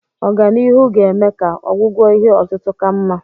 Ọganihu ga-eme ka ọgwụgwọ ihe otutu ka mma.